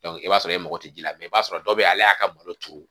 i b'a sɔrɔ e mago tɛ ji la mɛ i b'a sɔrɔ dɔw bɛ yen ale y'a ka malo turu